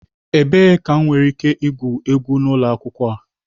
Ebee ka m nwere ike igwu egwu n'ụlọ akwụkwọ a?